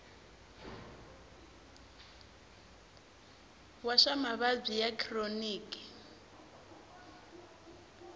wa swa mavabyi ya khironiki